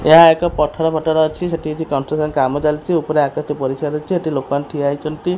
ଏହା ଏକ ପଥର ପଥର ଅଛି ସେଠି କିଛି କଷ୍ଟ୍ରସ୍କନ୍ କାମ ଚାଲିଛି ଉପରେ ଆକାଶ ପରିସ୍କାର ଅଛି ଏଠି ଲୋକମାନେ ଠିଆ ହେଇଛନ୍ତି।